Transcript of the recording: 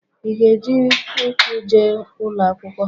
Ị ga-eji ụkwụ je ụlọ akwụkwọ?